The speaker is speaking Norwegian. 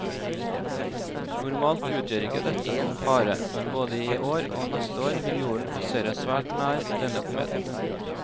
Normalt utgjør ikke dette noen fare, men både i år og neste år vil jorden passere svært nær denne kometen.